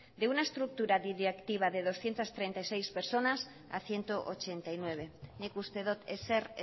de una estructura directiva de doscientos treinta y seis personas a ciento ochenta y nueve nik uste dut ezer